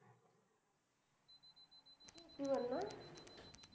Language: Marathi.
शेतीवर ना?